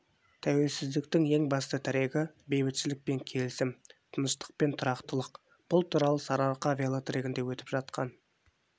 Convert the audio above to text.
тәуелсіздіктің ең басты тірегі бейбітшілік пен келісім тыныштық пен тұрақтылық бұл туралы сарыарқа велотрегінде өтіп жатқан